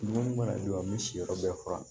Dumuni mana jɔ an bɛ si yɔrɔ bɛɛ furan